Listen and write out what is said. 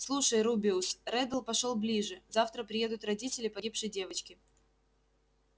слушай рубеус реддл пошёл ближе завтра приедут родители погибшей девочки